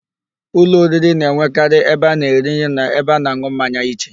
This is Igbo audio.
Ụlọ oriri na-enwekarị ebe a na -eri nri na ebe a na-an̄ụ mmanya iche.